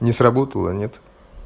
не сработала нет